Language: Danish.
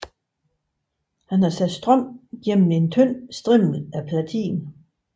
Han havde sat strøm gennem en tynd strimmel af platin